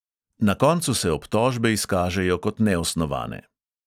Na koncu se obtožbe izkažejo kot neosnovane.